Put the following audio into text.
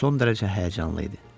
O son dərəcə həyəcanlı idi.